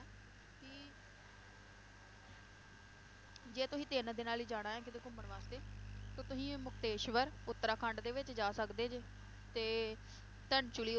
ਜੇ ਤੁਸੀਂ ਤਿੰਨ ਦਿਨਾਂ ਲਈ ਜਾਣਾ ਏ ਕੀਤੇ ਘੁੰਮਣ ਵਾਸਤੇ, ਤਾਂ ਤੁਹੀ ਮੁਖਤੇਸ਼ਵਰ, ਉੱਤਰਾਖੰਡ ਦੇ ਵਿਚ ਜਾ ਸਕਦੇ ਜੇ ਤੇ ਧਨਚੂਲ਼ੀ